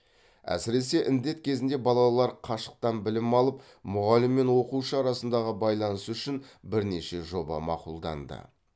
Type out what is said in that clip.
әсіресе індет кезінде балалар қашықтан білім алып мұғалім мен оқушы арасындағы байланыс үшін бірнеше жоба мақұлданды